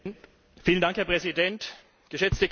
Herr Präsident, geschätzte Kollegen!